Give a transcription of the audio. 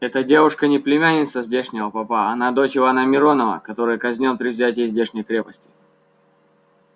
эта девушка не племянница здешнего попа она дочь ивана миронова который казнён при взятии здешней крепости